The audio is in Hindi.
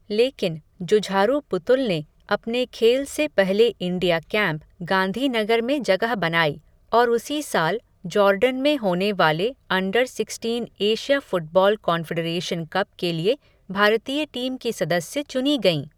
लेकिन, जुझारू पुतुल ने, अपने खेल से पहले इंडिया कैंप, गांधीनगर में जगह बनाई, और उसी साल, जॉर्डन में होने वाले under sixteen Asia football confederation cup के लिए, भारतीय टीम की सदस्य चुनी गईं.